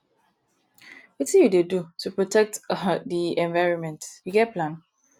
wetin you dey do to protect um di environment you get plan